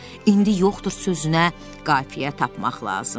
İndi yoxdur sözünə qafiyə tapmaq lazımdır.